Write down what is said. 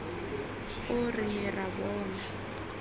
foo re ne ra bona